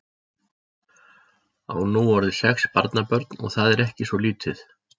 Á nú orðið sex barnabörn og það er ekki svo lítið.